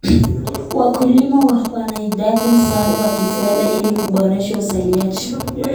Wakulima wanahitaji msaada wa kifedha ili kuboresha uzalishaji.